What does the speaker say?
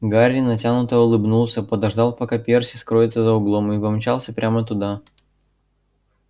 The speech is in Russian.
гарри натянуто улыбнулся подождал пока перси скроется за углом и помчался прямо туда